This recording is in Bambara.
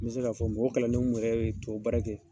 N mi se ka fɔ mɔgɔ kalannen mun yɛrɛ bɛ tubabu baara kɛ